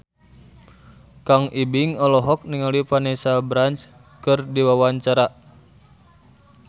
Kang Ibing olohok ningali Vanessa Branch keur diwawancara